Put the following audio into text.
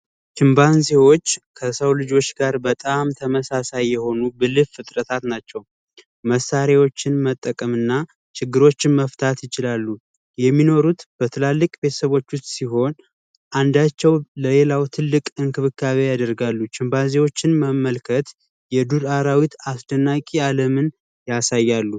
ችምፓዚዎች ከሰው ልጆች ጋር በጣም ተመሳሳይ የሆኑ ብልህ ፍጥረታት ናቸው። መሣሪያዎችን መጠቀም እና ችግሮችን መፍታት ይችላሉ። የሚኖሩት በትላልቅ ቤተሰቦች ውስጥ ለሌላው ትልቅ እንክብካቤ ያደርጋሉ። መመልከት የዱር አራዊት አስደናቂ የዓለምን ያሳያሉ።